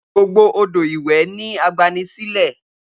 Gbogbo odo iwe ni agbani sile.